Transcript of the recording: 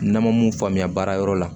N'an ma mun faamuya baarayɔrɔ la